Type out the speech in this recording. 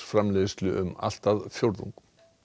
lambakjötsframleiðslu um allt að fjórðung